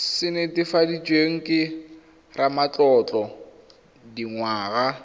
se netefaditsweng ke ramatlotlo dingwaga